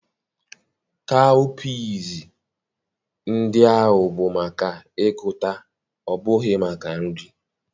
kawụpiz ndị ahụ bụ maka ịgụta ọ bụghị maka nri.